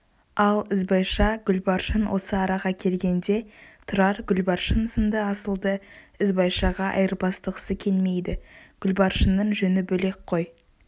ал ізбайша-гүлбаршын осы араға келгенде тұрар гүлбаршын сынды асылды ізбайшаға айырбастағысы келмейді гүлбаршынның жөні бөлек қой